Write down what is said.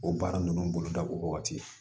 O baara ninnu boloda o wagati